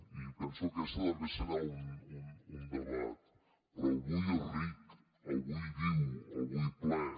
i penso que aquest també serà un debat però el vull ric el vull viu el vull ple